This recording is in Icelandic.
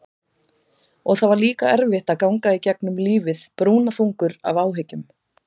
Og það er líka erfitt að ganga í gegnum lífið brúnaþungur af áhyggjum.